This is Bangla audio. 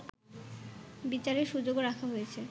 বিচারের সুযোগও রাখা হয়েছে